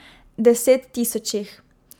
Desettisočih!